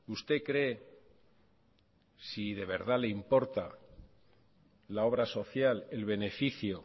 usted cree si de verdad le importa la obra social el beneficio